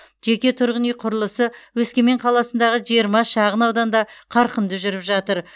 жеке тұрғын үй құрылысы өскемен қаласындағы жиырма шағын ауданда қарқынды жүріп жатыр